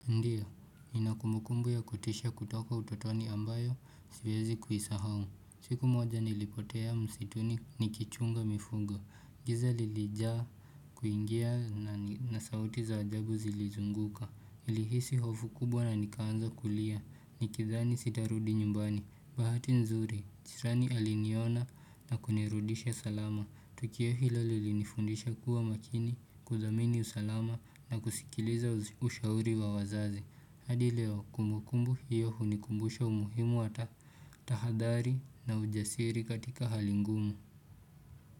Ndiyo, ina kumukumbu ya kutisha kutoka utotoni ambayo sivyezi kuhisahau. Siku moja nilipotea msituni nikichunga mifungo. Giza lilijaa kuingia na na sauti za ajabu zilizunguka. Ilihisi hofu kubwa na nikaanza kulia. Nikithani sitarudi nyumbani. Bahati nzuri, jirani aliniona na kunirudisha salama. Tukio hilo lilinifundisha kuwa makini, kuzamini usalama na kusikiliza ushauri wa wazazi hadi leo kumbukumbu hiyo hunikumbusha umuhimu wa ta tahadhari na ujasiri katika hali ngumu.